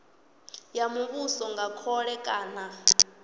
ya muvhuso nga khole kana